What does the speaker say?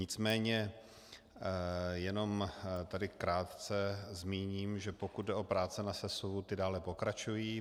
Nicméně jenom tady krátce zmíním, že pokud jde o práce na sesuvu, ty dále pokračují.